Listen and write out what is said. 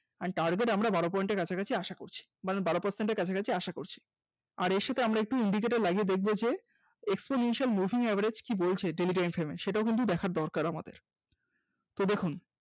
and target আমরা বারো point এর কাছাকাছি আশা করছি মানে বারো percent এর কাছাকাছি আশা করছি। আর এর সাথে আমরা একটু indicator লাগিয়ে দেখব যে exponential moving average কি বলছে daily time frame এ সেটাও কিন্তু দেখার দরকার আমাদের, তো দেখুন